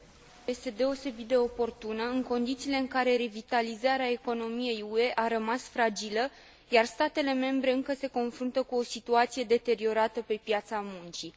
Această dezbatere este deosebit de oportună, în condițiile în care revitalizarea economiei UE a rămas fragilă, iar statele membre încă se confruntă cu o situație deteriorată pe piața muncii.